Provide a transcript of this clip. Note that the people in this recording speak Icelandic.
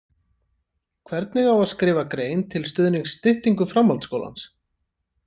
Hvernig á að skrifa grein til stuðnings styttingu framhaldsskólans?